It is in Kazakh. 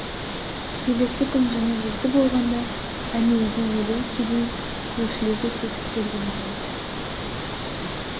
келесі күн жаназасы болғанда әнеугі елу кедей көршілер де тегіс келген екен